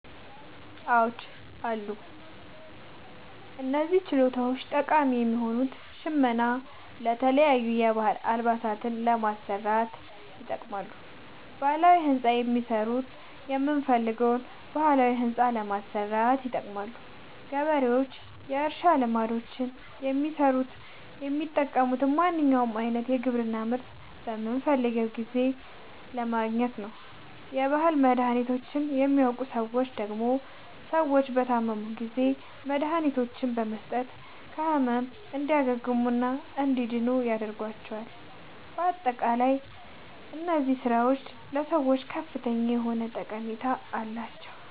አዎድ አሉ። እነዚህ ችሎታዎች ጠቃሚ የሆኑት ሸመና የተለያዩ የባህል አልባሳትን ለመስራት ይጠቅማሉ። ባህላዊ ህንፃ የሚሠሩት የምንፈልገዉን ባህላዊ ህንፃ ለማሠራት ይጠቅማሉ። ገበሬዎች ወይም የእርሻ ልማዶችን የሚሠሩት የሚጠቅሙት ማንኛዉንም አይነት የግብርና ምርት በምንፈልገዉ ጊዜ ለማግኘት ነዉ። የባህል መድሀኒቶችን የሚያዉቁ ሠዎች ደግሞ ሰዎች በታመሙ ጊዜ መድሀኒቶችን በመስጠት ከህመሙ እንዲያግሙና እንዲድኑ ያደርጓቸዋል። በአጠቃላይ እነዚህ ስራዎች ለሰዎች ከፍተኛ የሆነ ጠቀሜታ አላቸዉ።